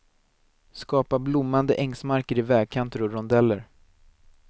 Skapa blommande ängsmarker i vägkanter och rondeller.